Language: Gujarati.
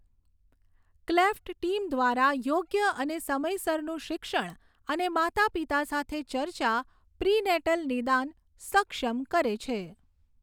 ક્લેફ્ટ ટીમ દ્વારા યોગ્ય અને સમયસરનું શિક્ષણ અને માતાપિતા સાથે ચર્ચા પ્રિનેટલ નિદાન સક્ષમ કરે છે.